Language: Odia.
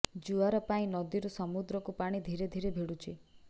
ଜୁଆର ପାଇଁ ନଦୀରୁ ସମୁଦ୍ରକୁ ପାଣି ଧୀରେ ଧୀରେ ଭିଡୁଛି